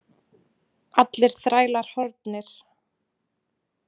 Allir þrælar horfnir.